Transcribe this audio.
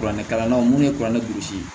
Kuranɛ kalannaw ni kuranɛ lisi